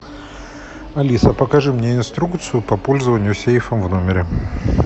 алиса покажи мне инструкцию по пользованию сейфом в номере